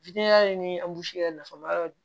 ni yɛrɛ nafa ma yɔrɔ